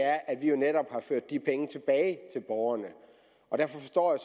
er at vi jo netop har ført de penge tilbage til borgerne og derfor forstår jeg